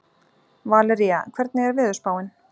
Valería, hvernig er veðurspáin?